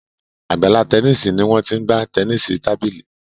Àgbàlá Tẹníìsì ní Wón t'in gbà Tẹníìsì tábìlì.